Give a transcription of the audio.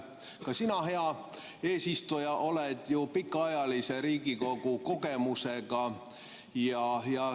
Ka sina, hea eesistuja, oled ju Riigikogu töö pikaajalise kogemusega.